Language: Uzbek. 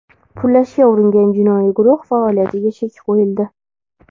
pullashga uringan jinoiy guruh faoliyatiga chek qo‘yildi.